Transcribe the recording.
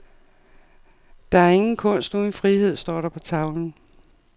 Der er ingen kunst uden frihed, står der på tavlen.